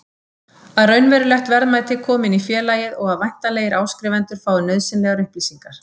að raunverulegt verðmæti komi inn í félagið og að væntanlegir áskrifendur fái nauðsynlegar upplýsingar.